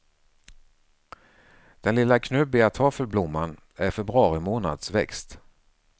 Den lilla knubbiga toffelblomman är februari månads växt.